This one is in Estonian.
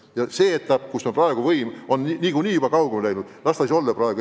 Las see etapp, kus võim on nagunii juba rahvast kaugemale läinud, olla praegu.